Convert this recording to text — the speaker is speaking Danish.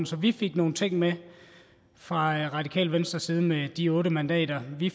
så vi fik nogle ting med fra radikale venstres side med de otte mandater vi